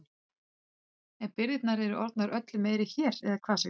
En birgðirnar eru orðnar öllu meiri hér eða hvað Sigmundur?